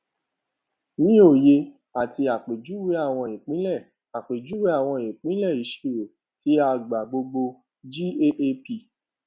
ní òye ati àpèjúwe àwọn ìpìnlẹ àpèjúwe àwọn ìpìnlẹ ìṣirò tí a gbà gbogbo gaap